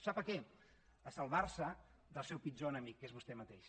sap a què a salvar se del seu pitjor enemic que és vostè mateix